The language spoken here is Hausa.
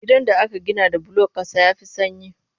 Gidan da aka gina da bulon ƙasa ya fi sanyi